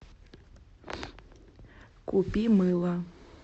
купи мыло